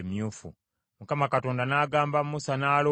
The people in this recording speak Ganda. Mukama Katonda n’agamba Musa ne Alooni nti,